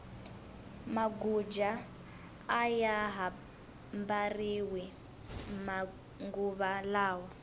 maguja aya ha mbariwi manguva lawa